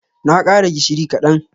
Na kara gishiri kadan.